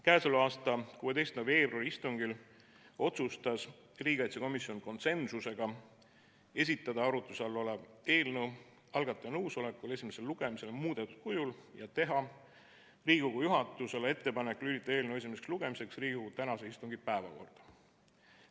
Käesoleva aasta 16. veebruari istungil otsustas riigikaitsekomisjon konsensusega esitada arutluse all olev eelnõu algataja nõusolekul esimesele lugemisele muudetud kujul ja teha Riigikogu juhatusele ettepanek lülitada eelnõu esimeseks lugemiseks Riigikogu tänase istungi päevakorda.